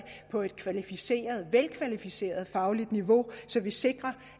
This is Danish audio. på et velkvalificeret fagligt niveau så det sikres